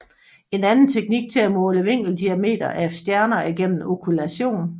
En anden teknik til at måle vinkeldiameter af stjerner er gennem okkultation